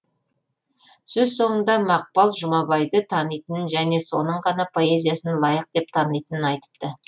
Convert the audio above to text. сөз соңында мақпал жұмабайды танитынын және соның ғана поэзиясын лайық деп танитынын айтыпты